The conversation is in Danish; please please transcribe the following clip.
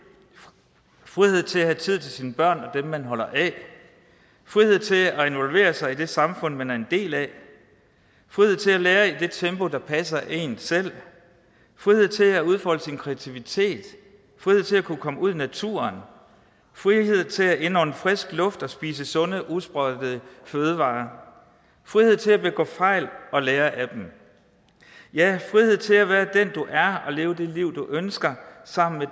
frihed til at have tid til sine børn og dem man holder af frihed til at involvere sig i det samfund man er en del af frihed til at lære i det tempo der passer en selv frihed til at udfolde sin kreativitet frihed til at kunne komme ud i naturen frihed til at indånde frisk luft og spise sunde usprøjtede fødevarer frihed til at begå fejl og lære af dem ja frihed til at være den du er og leve det liv du ønsker sammen med